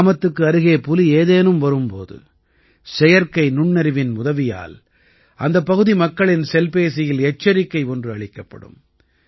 கிராமத்துக்கு அருகே புலி ஏதேனும் வரும் போது செயற்கை நுண்ணறிவின் உதவியால் அந்தப் பகுதி மக்களின் செல்பேசியில் எச்சரிக்கை ஒன்று அளிக்கப்படும்